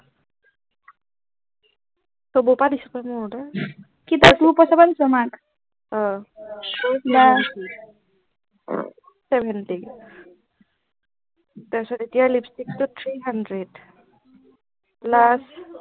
কিবা তোৰ মাক অহ বা two seventy তাৰ পিছত এতিয়া লিপষ্টিক টোত three hundred plus